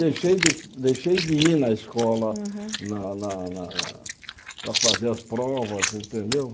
Deixei de deixei de ir na escola Uhum na na na na para fazer as provas, entendeu?